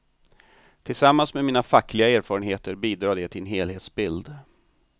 Tillsammans med mina fackliga erfarenheter bidrar det till en helhetsbild.